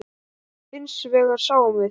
Hins vegar sjáum við